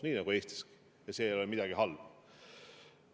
Nii on Eestiski ja see ei ole midagi halba.